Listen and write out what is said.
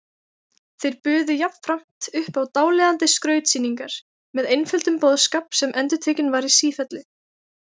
Þeir buðu jafnframt upp á dáleiðandi skrautsýningar með einföldum boðskap sem endurtekinn var í sífellu.